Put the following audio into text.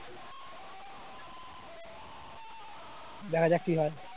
দেখা যাক কি হয়